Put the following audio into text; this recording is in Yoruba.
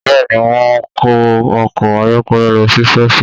Bẹ́ẹ̀ ni, wọ́n wọ ọkọ̀ ayọ́kẹ́lẹ́ lọ sí ṣọ́ọ̀ṣì